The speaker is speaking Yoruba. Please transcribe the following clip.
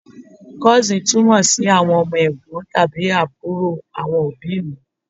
Cousin túmọ̀ sí àwọn ọmọ Ẹ̀gbọ́n tàbí àbúrò àwọn òbíì mi.